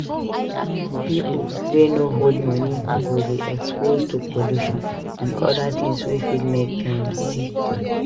Pipo wey no hold money go dey exposed to pollution and oda things wey fit make dem sick